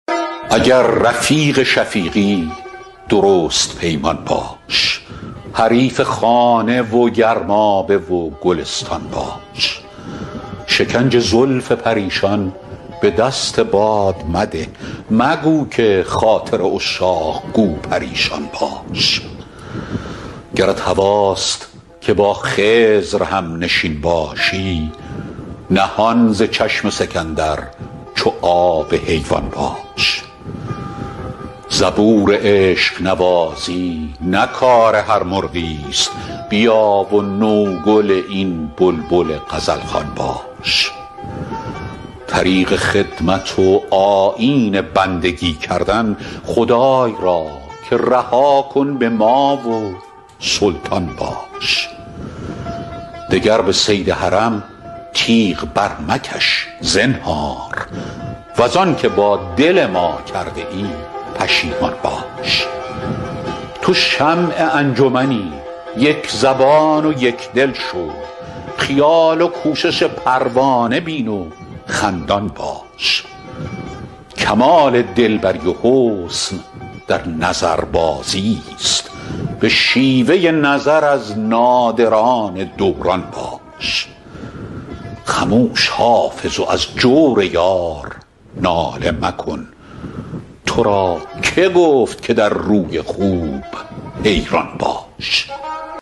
اگر رفیق شفیقی درست پیمان باش حریف خانه و گرمابه و گلستان باش شکنج زلف پریشان به دست باد مده مگو که خاطر عشاق گو پریشان باش گرت هواست که با خضر هم نشین باشی نهان ز چشم سکندر چو آب حیوان باش زبور عشق نوازی نه کار هر مرغی است بیا و نوگل این بلبل غزل خوان باش طریق خدمت و آیین بندگی کردن خدای را که رها کن به ما و سلطان باش دگر به صید حرم تیغ برمکش زنهار وز آن که با دل ما کرده ای پشیمان باش تو شمع انجمنی یک زبان و یک دل شو خیال و کوشش پروانه بین و خندان باش کمال دل بری و حسن در نظربازی است به شیوه نظر از نادران دوران باش خموش حافظ و از جور یار ناله مکن تو را که گفت که در روی خوب حیران باش